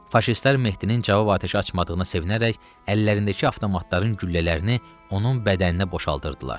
Faşistlər Mehdinin cavab atəşi açmadığını sevinərək əllərindəki avtomatların güllələrini onun bədəninə boşaltdırdılar.